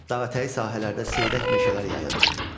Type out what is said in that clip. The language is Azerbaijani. Dağətəyi sahələrdə seyrək meşələr yayılmışdı.